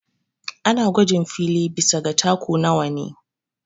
Ana gwajin fili bisa ga taku nawa ne